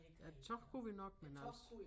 Æ tog kunne vi nok men altså